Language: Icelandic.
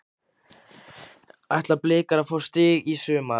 Ætla blikar að fá stig í sumar?